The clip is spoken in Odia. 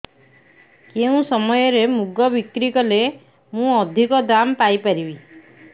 କେଉଁ ସମୟରେ ମୁଗ ବିକ୍ରି କଲେ ମୁଁ ଅଧିକ ଦାମ୍ ପାଇ ପାରିବି